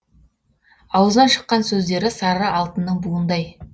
аузынан шыққан сөздері сары алтынның буындай